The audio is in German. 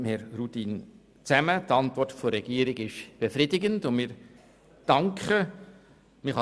Die Antwort der Regierung ist befriedigend und wir danken dafür.